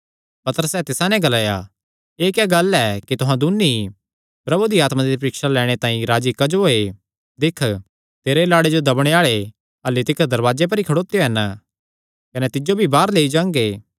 पतरसे तिसा नैं ग्लाया एह़ क्या गल्ल ऐ कि तुहां दून्नी ई प्रभु दी आत्मा दी परीक्षा लैणे तांई राजी क्जो होये दिक्ख तेरे लाड़े जो दब्बणे आल़े अह्ल्ली तिकर दरवाजे पर ई खड़ोत्यो हन कने तिज्जो भी बाहर लेई जांगे